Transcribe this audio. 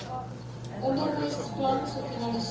onderwys plan finaliseer